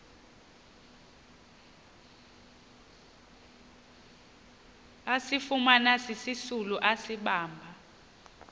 asifumana sisisulu asibamba